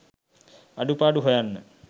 අඩුපාඩු හොයන්න